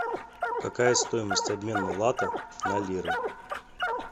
какая стоимость обмена лата на лиры